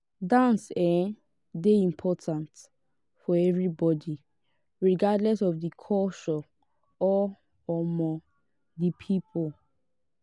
dance um dey important for everybody regardless of di culture or um di people